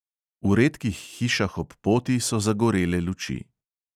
V redkih hišah ob poti so zagorele luči.